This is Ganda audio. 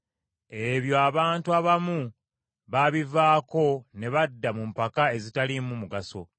Ebyo abantu abamu babivaako ne badda mu mpaka ezitaliimu mugaso.